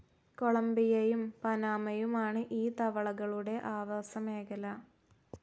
കൊളംബിയയും, പനാമയുമാണ് ഈ തവളകളുടെ ആവാസമേഖല.